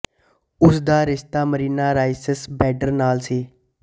ਉਸ ਦਾ ਰਿਸ਼ਤਾ ਮਰੀਨਾ ਰਾਈਸ ਬੈਡਰ ਨਾਲ ਸੀ